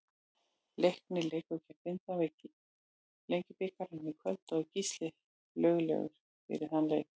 Leiknir leikur gegn Grindavík í Lengjubikarnum í kvöld og er Gísli löglegur fyrir þann leik.